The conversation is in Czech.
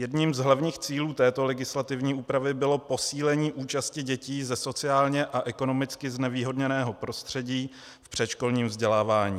Jedním z hlavních cílů této legislativní úpravy bylo posílení účasti dětí ze sociálně a ekonomicky znevýhodněného prostředí v předškolním vzdělávání.